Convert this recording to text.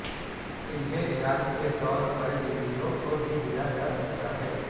انہیں علاج کے طور پر بلیوں کو بھی دیا جا سکتا ہے